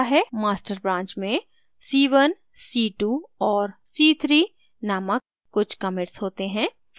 master branch में c1 c2 और c3 named कुछ commits होते हैं